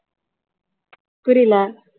புரியல